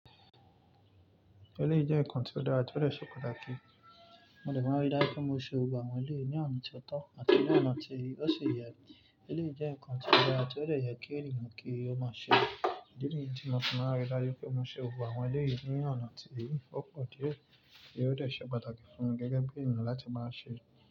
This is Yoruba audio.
Èlèyi jẹ́ ǹkan ti ó dára tí ó dé ṣe pàtàkì. Mo dè máa n rí dájú pé mo ṣe àwọn eléyí ní ọ̀nà tí ó tọ́ àti ní ọ̀nà tí ó ṣi yẹ. Ilé ìjẹ́ ǹkan ti ó dára tí ó lè yẹ kí ènìyàn kí ó máa ṣe. Idi nìyí tí mo ti fi máa m rí dájú pé mo ṣe gbogbo àwọn eléyi ní ọ̀nà tí ó pọ̀ díẹ̀ kí ó lè de pàtàkì fún mi gẹ́gẹ́ bí ènìyàn láti máa ṣe.